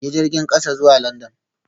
Yi jirgin kasa zuwa London